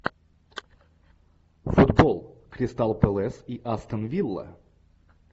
футбол кристал пэлас и астон вилла